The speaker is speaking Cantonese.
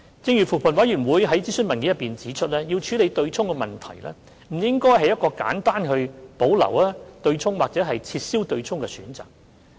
正如扶貧委員會在諮詢文件中指出，要處理對沖問題，不應該是一個簡單地去保留或撤銷的選擇。